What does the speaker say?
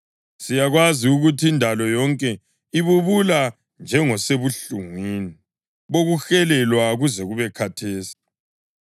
Siyakwazi ukuthi indalo yonke ibubula njengosebuhlungwini bokuhelelwa kuze kube khathesi.